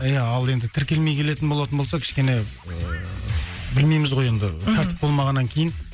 иә ал енді тіркелмей келетін болатын болса кішкене ыыы білмейміз ғой енді мхм ыыы тәртіп болмағаннан кейін